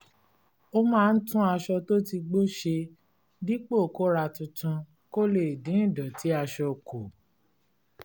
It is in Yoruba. ó máa ń tún aṣọ tó ti gbó ṣe dípò kó ra tuntun kó lè dín ìdọ̀tí aṣọ kù